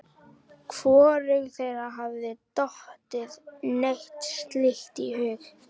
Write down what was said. Hvorugu þeirra hafði dottið neitt slíkt í hug.